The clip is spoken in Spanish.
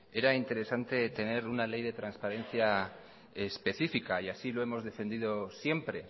era interesante tener una ley de transparencia específica y así lo hemos defendido siempre